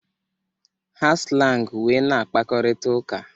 Ha slang wee na-akpakorita uka.